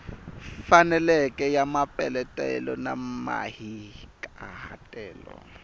faneleke ya mapeletelo na mahikahatelo